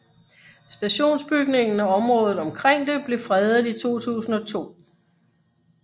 Stationsbygningen og området omkring det blev fredet i 2002